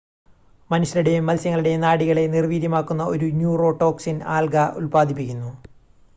മനുഷ്യരുടെയും മത്സ്യങ്ങളുടെയും നാഡികളെ നിർവ്വീര്യമാക്കുന്ന ഒരു ന്യൂറോടോക്സിൻ ആൽഗ ഉൽപാദിപ്പിക്കുന്നു